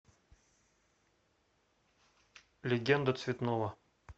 легенда цветного